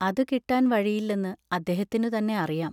അതു കിട്ടാൻ വഴിയില്ലെന്ന് അദ്ദേഹത്തിനുതന്നെ അറിയാം.